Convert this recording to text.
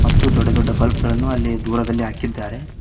ದೊಡ್ಡ ದೊಡ್ಡ ಬುಲ್ಪ್ ಗಳನ್ನು ಅಲ್ಲಿ ದೂರದಲ್ಲಿ ಹಾಕಿದ್ದಾರೆ.